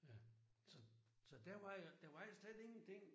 Ja. Så så der var jo der var jo slet ingen ting